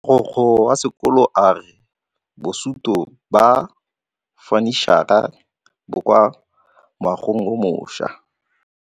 Mogokgo wa sekolo a re bosutô ba fanitšhara bo kwa moagong o mošwa.